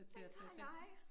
Den tager jeg